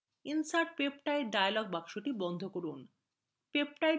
insert peptide dialog box বন্ধ করুন